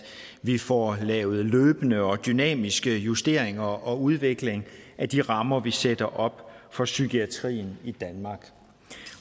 vi får lavet løbende og dynamiske justeringer og udvikling af de rammer vi sætter op for psykiatrien i danmark